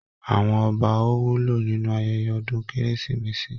Àwọn ọba ò wúlò nínú ayẹyẹ ọdún kérésìmesì